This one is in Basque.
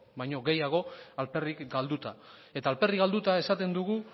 baino gehiago alferrik galduta eta alferrik galduta esaten dugu